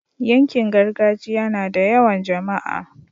yankin gargajiya nada yawan jamaa